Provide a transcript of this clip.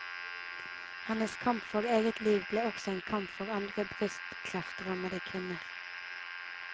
Hennes kamp for eget liv ble også en kamp for andre brystkreftrammede kvinner.